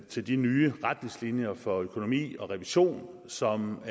til de nye retningslinjer for økonomi og revision som